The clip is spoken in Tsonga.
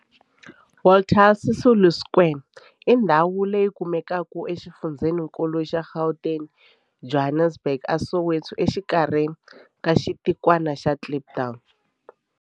Walter Sisulu Square i ndhawu leyi kumekaka exifundzheninkulu xa Gauteng, Johannesburg, a Soweto, exikarhi ka xitikwana xa Kliptown.